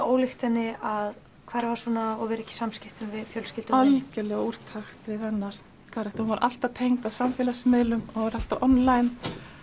ólíkt henni að hverfa svona og vera ekki í samskiptum við fjölskyldu algerlega úr takt við hennar karakter hún var alltaf tengd á samfélagsmiðlum og var alltaf online